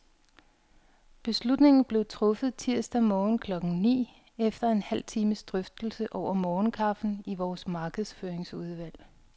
Beslutningen blev truffet tirsdag morgen klokken ni, efter en halv times drøftelse over morgenkaffen i vores markedsføringsudvalg.